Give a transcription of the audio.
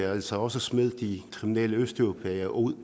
er altså også at smide de kriminelle østeuropæere ud